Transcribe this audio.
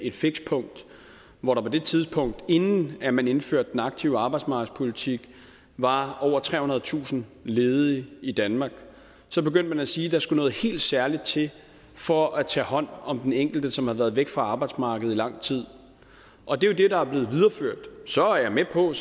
et fikspunkt hvor der på det tidspunkt inden at man indførte den aktive arbejdsmarkedspolitik var over trehundredetusind ledige i danmark så begyndte man at sige der skulle noget helt særligt til for at tage hånd om den enkelte som havde været væk fra arbejdsmarkedet i lang tid og det er jo det der er blevet videreført så er jeg med på at